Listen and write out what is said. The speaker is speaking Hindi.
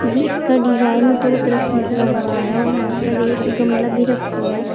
ये इसका डिजाइन दो तरफ निकला हुआ है और यहां पर एक गमला भी रखा हुआ है।